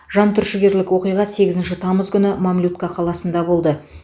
жантүршігерлік оқиға сегізінші тамыз күні мамлютка қаласында болды